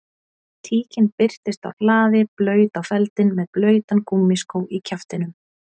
Tíkin birtist á hlaði blaut á feldinn með blautan gúmmískó í kjaftinum